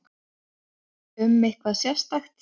Um eitthvað sérstakt?